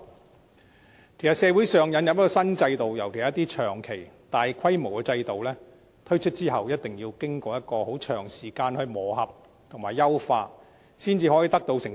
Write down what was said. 其實，社會引入新制度，尤其是一些長期和大規模的制度，在推出後必須經過一段很長時間的磨合和優化，才可以取得成績。